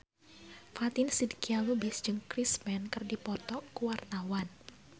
Fatin Shidqia Lubis jeung Chris Pane keur dipoto ku wartawan